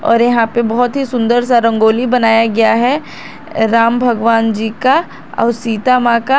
और यहां पे बहोत ही सुंदर सा रंगोली बनाया गया है राम भगवान जी का और सीता मां का।